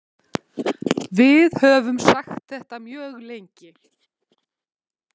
Við höfum sagt þetta mjög lengi